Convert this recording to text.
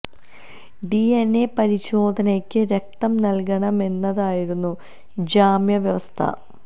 D N A പരിശോധനയ്ക്ക് രക്തം നൽകണമെന്നതായിരുന്നു ജാമ്യ വ്യവസ്ഥ